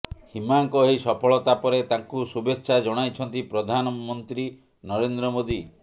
ହିମାଙ୍କ ଏହି ସଫଳତା ପରେ ତାଙ୍କୁ ଶୁଭେଚ୍ଛା ଜଣାଇଛନ୍ତି ପ୍ରଧାନମନ୍ତ୍ରୀ ନରେନ୍ଦ୍ର ମୋଦି